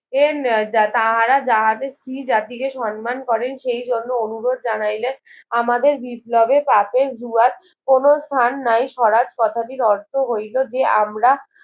এর তাহারা যাহাদের স্ত্রীজাতিকে সম্মান করেন সেই জন্য অনুরোধ জানাইলে আমাদের বিপ্লবে পাপের দুবার কোনো স্নান নাই স্বরাজ কথাটির অর্থ হইলো যে আমরা